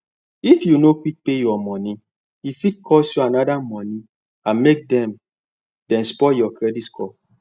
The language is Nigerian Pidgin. if you no quick pay your money e fit cause you another money and make dem dem spoil your credit score